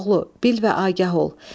Koroğlu, bil və agah ol.